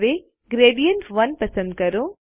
હવે ગ્રેડિયન્ટ1 પસંદ કરો